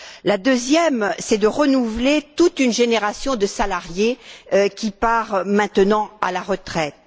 Le deuxième, c'est de renouveler toute une génération de salariés qui part maintenant à la retraite.